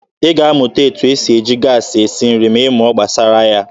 Ị ga-amụta etu esi eji gaasị esi nri ma ị mụọ gbasara ya.